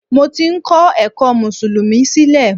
Mo ti ń ko ẹ̀kọ́ mùsùlùmí sílẹ̀